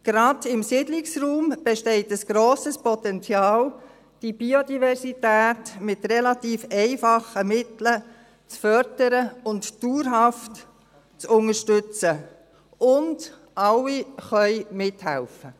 «Gerade im Siedlungsraum besteht ein grosses Potenzial die Biodiversität mit relativ einfachen Mitteln zu fördern und dauerhaft zu unterstützen und alle können mithelfen.